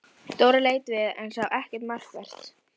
Dóra leit við en sá ekkert markvert.